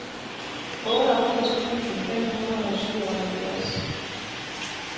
otteogfirs tusind fem hundrede og syvoghalvfjerds